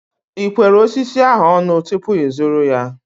Ị kwere osisi ahu ọnụ tupu ịzụrụ ya?